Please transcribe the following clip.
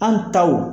An taw